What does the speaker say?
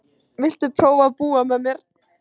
Viltu prófa að búa með mér.